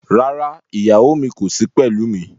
Rárá, ìyàwó mi kò sí pẹ̀lú mi.